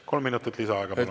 Kolm minutit lisaaega.